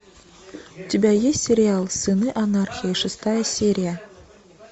у тебя есть сериал сыны анархии шестая серия